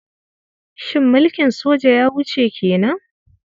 Shin mulkin soja ya wuce ke nan?